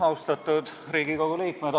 Austatud Riigikogu liikmed!